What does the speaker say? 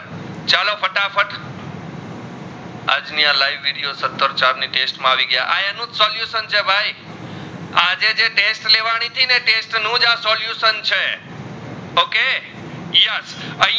આજ ની આ live વિડિયો સત્તર ચાર ના દેશ માં આવી ગયા આ અનુ solution છે ભાઈ આજે જે ટેસ્ટ લેવાની હતી ને ટેસ્ટ નુજ આ solution છે okay yes આઇયાં